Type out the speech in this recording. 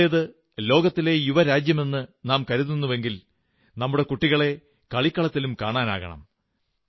നമ്മുടേത് ലോകത്തിലെ യുവ രാജ്യമെന്നു നാം കരുതുന്നുവെങ്കിൽ നമ്മുടെ കുട്ടികളെ കളിക്കളത്തിലും കാണാനാകണം